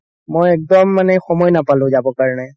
মই একদম মানে সময় নাপালো যাব কাৰণে